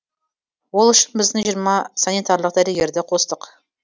ол үшін біздің жиырма санитарлық дәрігерді қостық